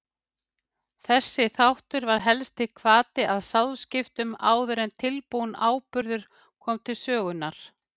Þessi þáttur var helsti hvati að sáðskiptum áður en tilbúinn áburður kom til sögunnar.